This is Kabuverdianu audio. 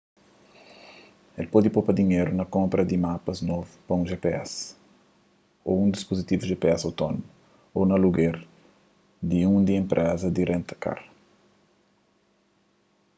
el pode popa dinheru na konpra di mapas novu pa un gps ô un dispuzitivu gps autónomu ô na aluger di un di un enpreza di renta-kar